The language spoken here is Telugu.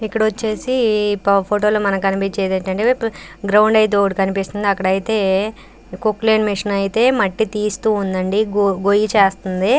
ఇక్కడ వచ్చేసి ఈ ఫోటో లో మనకు కనిపిస్తుంది ఏందంటే గ్రౌండ్ అయితే ఒకటి కనిపిస్తుంది అక్కడైతే కొక్లైన్ మిషన్ అయితే మట్టి తీస్తూ ఉండండి గొయ్య చేస్తుంది.